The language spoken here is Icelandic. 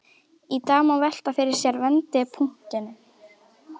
Í dag má velta fyrir sér vendipunktinum.